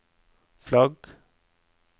flagg